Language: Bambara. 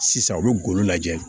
Sisan u bɛ golo lajɛ